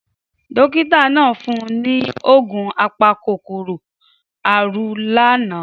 Dókítà náà fún un ní oògùn apakòkòrò àrùn lánàá.